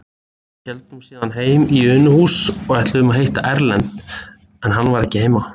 Héldum síðan heim í Unuhús og ætluðum að hitta Erlend, en hann var ekki heima.